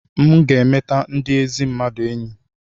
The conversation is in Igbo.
m ga-emeta ndị ezi mmadụ enyi